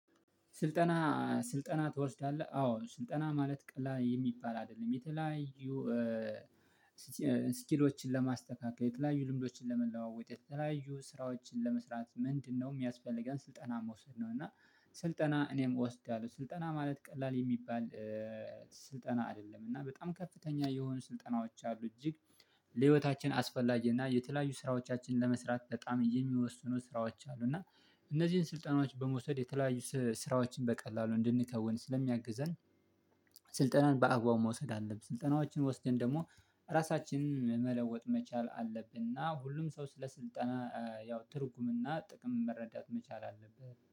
ስልጠና ስልጠና ትወስዳለህ? አዎ ስልጠና ማለት ቀላል የሚባል አይደለም የተለያዩ ስኪሎችን ለማስተካከል የተለያዩ ልምዶችን ለመለዋወጥ የተለያዩ ስራዎችን ለመስራት ምንድነው የሚያስፈልገን ስልጠና መውሰድ ነው እና ስልጠና እኔም እወስዳለሁ ስልጠና ማለት ቀላል የሚባል ስልጠና አይደለም እና በጣም ከፍተኛ የሆኑ ስልጠናዎች አሉ እጅግ ለህይወታችን አስፈላጊ እና የተለያዩ ስራዎቻችን ለመስራት በጣም የሚወስኑ ስራዎች አሉ እና እነዚህን ስልጠናዎች በመውሰድ የተለያዩ ስራዎችን በቀላሉ እንድንከውን ስለሚያግዘን ስልጠናን በአግባቡ መውሰድ አለብን ስልጠናዎችን ወስደን ደግሞ ራሳችንን መለወጥ መቻል አለብን እና ሁሉም ሰው ስለ ስልጠና ያው ትርጉምና ጥቅም መረዳት መቻል አለብህ